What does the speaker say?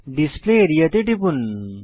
display area তে টিপুন